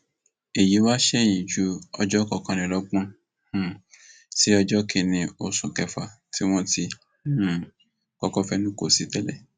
èyí wá sẹyìn ju ọjọ kọkànlélọgbọn um sí ọjọ kìnínní oṣù kẹfà tí wọn ti um kọkọ fẹnu kò sí tẹlẹ